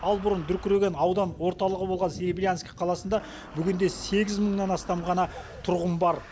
ал бұрын дүркіреген аудан орталығы болған серебрянск қаласында бүгінде сегіз мыңнан астам ғана тұрғын бар